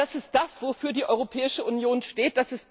Das ist das, wofür die Europäische Union steht.